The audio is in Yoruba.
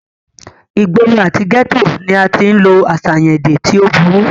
ìgboro àti gẹ́tò ni a tí ń lo àṣàyàn èdè tí ó burú